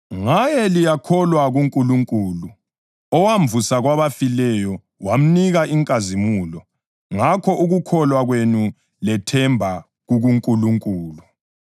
Ngaye liyakholwa kuNkulunkulu, owamvusa kwabafileyo wamnika inkazimulo, ngakho ukukholwa kwenu lethemba kukuNkulunkulu.